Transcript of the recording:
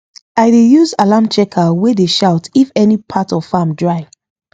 i dey use alarm checker wey dey shout if any part of farm dry